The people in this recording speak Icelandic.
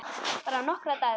Bara nokkra daga.